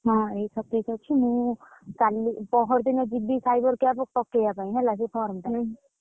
ହଁ, ଏଇ ସତେଇଶ ଅଛି ମୁଁ କାଲି ପହର ଦିନ ଯିବି cyber camp ପକେଇଆ ପାଇଁ ହେଲା ସେ form ଟା,